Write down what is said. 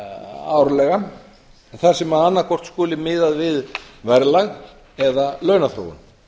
árlega þar sem annaðhvort skuli miðað við verðlag eða launaþróun